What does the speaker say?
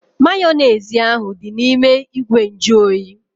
Mayonezi ahu dị n'ime ìgwè nju oyi